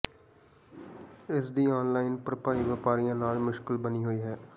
ਇਸ ਦੀ ਆਨਲਾਈਨ ਭਰਪਾਈ ਵਪਾਰੀਆਂ ਲਈ ਮੁਸ਼ਕਿਲ ਬਣੀ ਹੋਈ ਹੈ